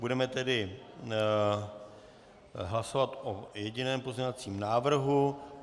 Budeme tedy hlasovat o jediném pozměňovacím návrhu.